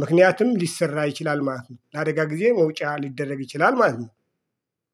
ምክንያትም ሊሰራ ይችላል ማለት ነው። ለአደጋ ጊዜ መውጫ ሊደረግ ይችላል ማለት ነው